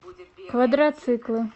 квадроциклы